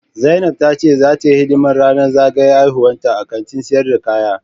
Zainab ta ce zata yi hidiman ranan zagayan haihuwanta a Kantin sayar da kaya.